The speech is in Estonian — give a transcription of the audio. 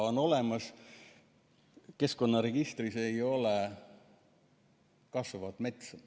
Keskkonnaregistris ei ole kasvavat metsa.